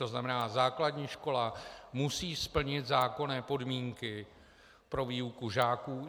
To znamená, základní škola musí splnit zákonné podmínky pro výuku žáků.